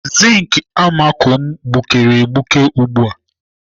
Zink amako m gbukere egbuke ugbu a.